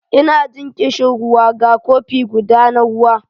Ina jin ƙishirwa ga kofi guda na ruwa